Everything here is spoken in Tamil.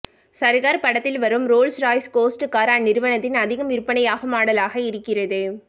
சர்கார் படத்தில் வரும் ரோல்ஸ்ராய்ஸ் கோஸ்ட் கார் அந்நிறுவனத்தின் அதிகம் விற்பனையாகும் மாடலாக இருக்கிறது